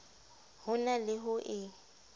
ho na le ho e